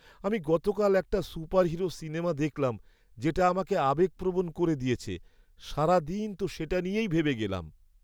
আমি গতকাল একটা সুপারহিরো সিনেমা দেখলাম যেটা আমাকে আবেগপ্রবণ করে দিয়েছে। সারাদিন তো সেটা নিয়েই ভেবে গেলাম।